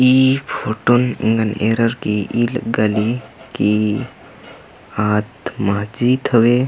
ई फुटन एंगन ऐरर गे ई लग्गी ली कि आद माजीत हवे--